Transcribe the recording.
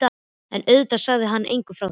En auðvitað sagði hann engum frá því.